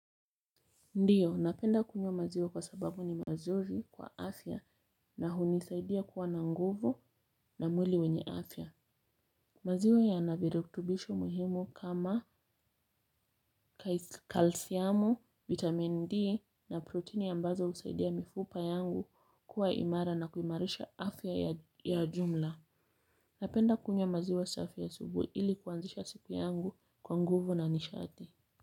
Ndiyo, napenda kunywa maziwa kwa sababu ni mazuri kwa afya na hunisaidia kuwa na nguvu na mwili wenye afya. Maziwa ya naviruktubisho muhimu kama kalsiamu, vitamin D na protini ambazo usaidia mifupa yangu kuwa imara na kuimarisha afya ya jumla. Napenda kunywa maziwe safi asubui ili kuanzisha siku yangu kwa nguvu na nishati.